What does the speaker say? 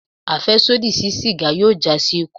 Afẹsodi si sígá yóò já si ikú